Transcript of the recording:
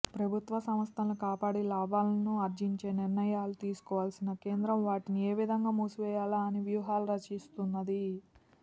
ప్రభుత్వ సంస్థలను కాపాడి లాభాలను ఆర్జించే నిర్ణయాలు తీసుకోవాల్సిన కేంద్రం వాటిని ఏ విధంగా మూసివేయాలా అని వ్యూహాలు రచిస్తున్నది